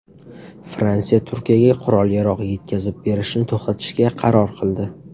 Fransiya Turkiyaga qurol-yarog‘ yetkazib berishni to‘xtatishga qaror qildi.